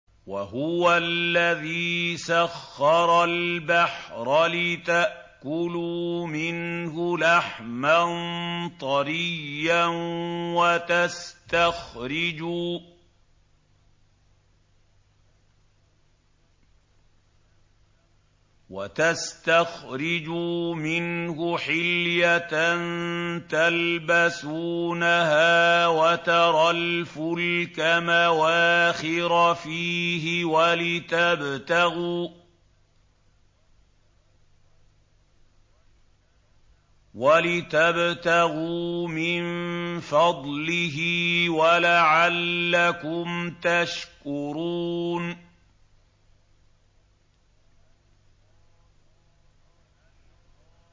وَهُوَ الَّذِي سَخَّرَ الْبَحْرَ لِتَأْكُلُوا مِنْهُ لَحْمًا طَرِيًّا وَتَسْتَخْرِجُوا مِنْهُ حِلْيَةً تَلْبَسُونَهَا وَتَرَى الْفُلْكَ مَوَاخِرَ فِيهِ وَلِتَبْتَغُوا مِن فَضْلِهِ وَلَعَلَّكُمْ تَشْكُرُونَ